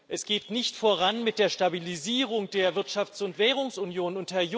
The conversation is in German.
Es geht nicht voran mit der Stabilisierung der Wirtschafts und Währungsunion.